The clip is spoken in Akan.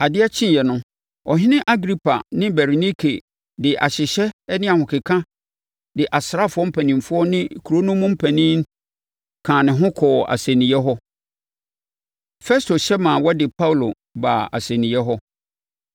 Adeɛ kyeeɛ no, Ɔhene Agripa ne Berenike de ahyehyɛ ne ahokeka de asraafoɔ mpanimfoɔ ne kuro no mu mpanin kaa ne ho kɔɔ asɛnniiɛ hɔ. Festo hyɛ maa wɔde Paulo baa asɛnniiɛ hɔ.